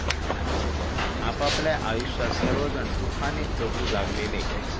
आपापल्या आयुष्यात सर्वजण सुखाने जगू लागलेले.